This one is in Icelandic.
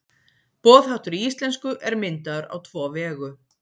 boðháttur í íslensku er myndaður á tvo vegu